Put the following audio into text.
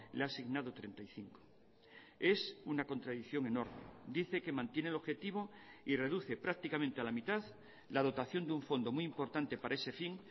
le ha asignado treinta y cinco es una contradicción enorme dice que mantiene el objetivo y reduce prácticamente a la mitad la dotación de un fondo muy importante para ese fin